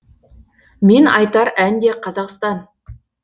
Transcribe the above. мен айтар ән де қазақстан